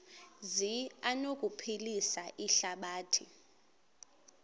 zi anokuphilisa ihlabathi